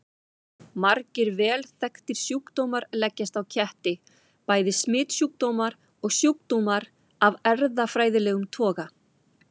Margir vel þekktir sjúkdómar leggjast á ketti, bæði smitsjúkdómar og sjúkdómar af erfðafræðilegum toga.